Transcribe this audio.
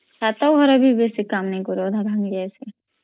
ଛାତ ଘର ବି ବେସି କାମ୍ ନଇ କର ଅଧା ଭାଂଗୀଜଚୀ